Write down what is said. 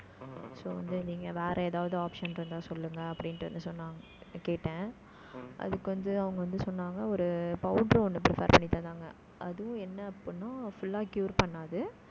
so வந்து, நீங்க வேற ஏதாவது, option இருந்தா, சொல்லுங்க, அப்படின்னுட்டு வந்து, சொன்னாங்க. கேட்டேன். அதுக்கு வந்து, அவங்க வந்து, சொன்னாங்க. ஒரு powder ஒண்ணு prepare பண்ணி தந்தாங்க அதுவும் என்ன அப்படின்னா full ஆ cure பண்ணாது